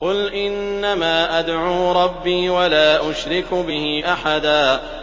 قُلْ إِنَّمَا أَدْعُو رَبِّي وَلَا أُشْرِكُ بِهِ أَحَدًا